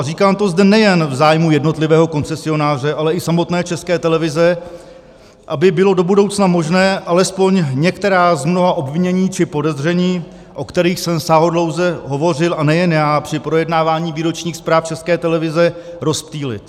A říkám to zde nejen v zájmu jednotlivého koncesionáře, ale i samotné České televize, aby bylo do budoucna možné alespoň některá z mnoha obvinění či podezření, o kterých jsem sáhodlouze hovořil, a nejen já, při projednávání výročních zpráv České televize, rozptýlit.